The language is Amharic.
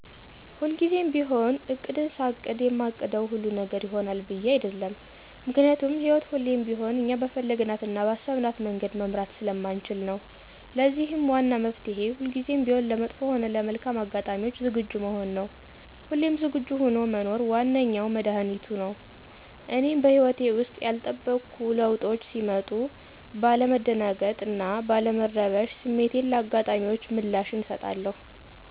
ሁልጊዜም ቢሆን እቅድን ሳቅድ የማቅደው ሁሉ ነገር ይሆናል ብዬ አይደለም። ምክንያቱም ህይወት ሁሌም ቢሆን እኛ በፈለግናት እና ባሰብናት መንገድ መምራት ስለማንችል ነው። ለዚህም ዋና መፍትሔ ሁልጊዜም ቢሆን ለመጥፎ ሆነ ለመልካም አጋጣሚዎች ዝግጁ መሆን ነው። ሁሌም ዝግጁ ሆኖ መኖር ዋነኛው መድኃኒቱቱ ነው። እኔም በህይወቴ ውስጥ ያልተጠበቁ ለዉጦች ሲመጡ ባለ መደናገጥ እና ባለ መረበሽ ስሜትን ለአጋጣሚዎች ምላሽን አሰጣለሁ።